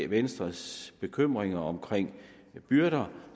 venstres bekymringer om byrder